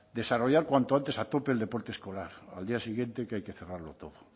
desarrollar cuanto antes a tope el deporte escolar al día siguiente que hay que cerrarlo todo